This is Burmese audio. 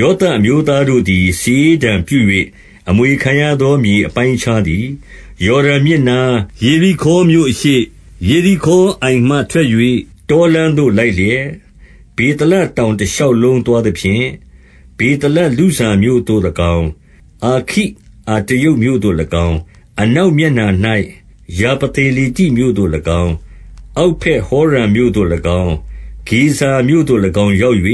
ယောသပ်အမျိုးသားတို့သည် စာရေးတံပြု၍ အမွေခံရသောမြေ အပိုင်းအခြားသည် ယော်ဒန်မြစ်နား၊ ယေရိခေါမြို့အရှေ့၊ ယေရိခေါအိုင်မှထွက်၍ တောလမ်း သို့ လိုက်လျက်၊ ဗေသလတောင်တရှောက်လုံး သွားသဖြင့်၊ 2 ဗေသလလုဇမြို့သို့၎င်း၊ အာခိအတရုတ် မြို့သို့ ၎င်း၊ 3 အနောက်မျက်နှာ၌ ယာဖလေတိမြို့သို့၎င်း၊ အောက်ဗက်ဟောရုန်မြို့သို့၎င်း၊ ဂေဇာမြို့သို့၎င်း ရောက် ၍